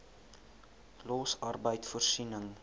los arbeid voorsiening